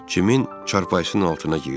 Kimin çarpayısının altına girdik?